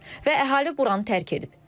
Və əhali buranı tərk edib.